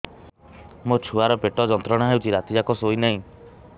ମୋ ଛୁଆର ପେଟ ଯନ୍ତ୍ରଣା ହେଉଛି ରାତି ଯାକ ଶୋଇନାହିଁ